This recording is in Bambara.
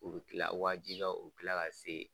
U bi kila wajibiya u kila ka se.